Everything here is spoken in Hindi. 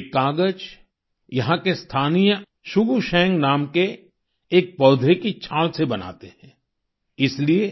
ये कागज यहाँ के स्थानीय शुगु शेंग नाम के एक पौधे की छाल से बनाते हैं इसलिए